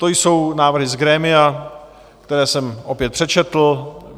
To jsou návrhy z grémia, které jsem opět přečetl.